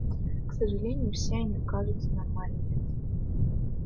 к сожалению все они кажутся нормальными